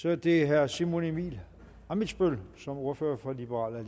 så er det herre simon emil ammitzbøll som ordfører for liberal